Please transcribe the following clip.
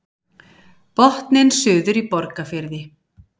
Botninn suður í Borgarfirði